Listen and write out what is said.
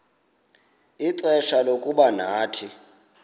ixfsha lokuba nathi